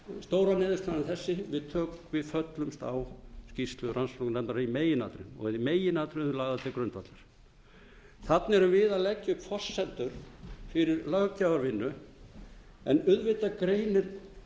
þannig að stóra niðurstaðan er þessi við föllumst á skýrslu rannsóknarnefndar í meginatriðum og þær eru í meginatriðum lagðar til grundvallar þarna erum við að leggja upp forsendur fyrir löggjafarvinnu en auðvitað greinir